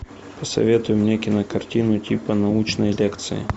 посоветуй мне кинокартину типа научной лекции